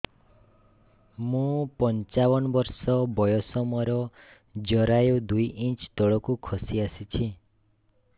ମୁଁ ପଞ୍ଚାବନ ବର୍ଷ ବୟସ ମୋର ଜରାୟୁ ଦୁଇ ଇଞ୍ଚ ତଳକୁ ଖସି ଆସିଛି